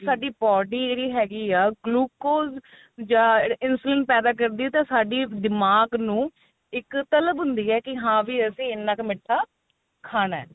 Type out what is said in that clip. ਸਾਡੀ body ਜਿਹੜੀ ਹੈਗੀ ਆ glucose ਜਾਂ insulin ਪੈਦਾ ਕਰਦੀ ਏ ਤਾਂ ਸਾਡੀ ਦਿਮਾਗ ਨੂੰ ਇੱਕ ਤਲਬ ਹੁੰਦੀ ਏ ਕੀ ਹਾਂ ਵੀ ਅਸੀਂ ਇੰਨਾ ਕ ਮਿੱਠਾ ਖਾਣਾ